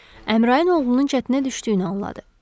Əmraın oğlunun çətinə düşdüyünü anladı.